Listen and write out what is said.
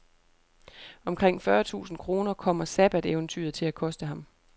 Omkring fyrre tusind kroner kommer sabbateventyret til at koste ham.